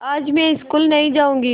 आज मैं स्कूल नहीं जाऊँगी